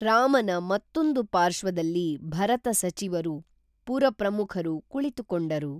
ರಾಮನ ಮತ್ತೊಂದು ಪಾರ್ಶ್ವದಲ್ಲಿ ಭರತ ಸಚಿವರು ಪುರಪ್ರಮುಖರು ಕುಳಿತುಕೊಂಡರು